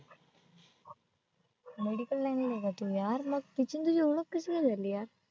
medical line ला नव्हता तू यार मग तिची आणि तुझी ओळख कशी काय झाली यार?